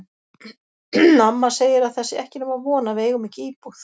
Amma segir að það sé ekki nema von að við eigum ekki íbúð.